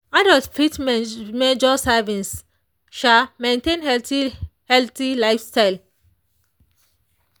adults fit measure servings maintain healthy healthy lifestyle.